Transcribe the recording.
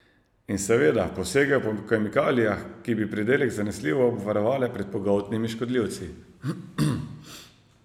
In seveda posegel po kemikalijah, ki bi pridelek zanesljivo obvarovale pred pogoltnimi škodljivci.